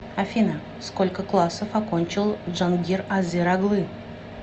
афина сколько классов окончил джангир азер оглы